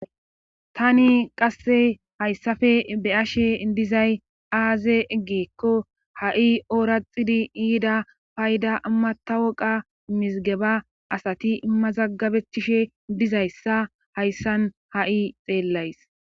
tani qasse hayssafe beyashe dizay aaze ggiikko ha7i ooraxidi yida payda matawoqa mizigeba asati mazaggabechishe dizayssa hayssan ha7i xeellays